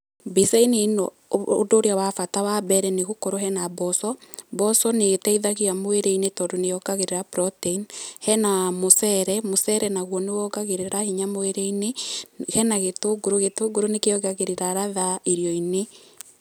Mbica-inĩ ĩno ũndũ ũrĩa wa bata wa mbere nĩ gũkorwo hena mboco. Mboco nĩ ĩteithagia mwĩrĩ-inĩ tondũ nĩ yongagĩrĩra protein, hena mũcere, mũcere nagwo nĩ wongagĩrĩra hinya mwĩrĩ-inĩ, hena gĩtũngũrũ, gĩtũngũrũ nĩkĩongagĩrĩra ladha irio-inĩ.